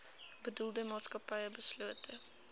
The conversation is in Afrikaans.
bedoelde maatskappy beslote